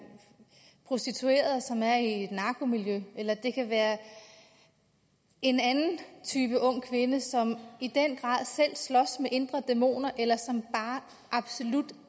prostitueret og som er i et narkomiljø eller det kan være en anden type ung kvinde som i den grad selv slås med indre dæmoner eller som bare absolut